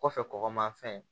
Kɔfɛ kɔgɔmafɛn